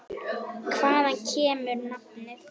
Hvaðan kemur nafnið?